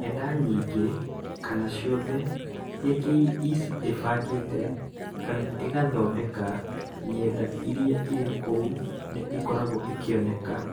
Ng’enda nyingĩ, kana ciothe, iria KEC ĩbangĩte kana ĩgathondeka, ng’enda iria irĩ kuo nĩ ikoragwo ikioneka.